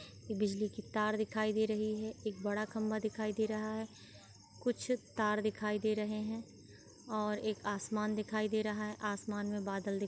बिजली की तार दिखाई दे रही है एक बड़ा खम्भा दिखाई दे रहा है कुछ तार दिखाई दे रहे हैं और एक आसमान दिखाई दे रहा है आसमान में बादल दिख --